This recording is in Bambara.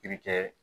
I bɛ kɛ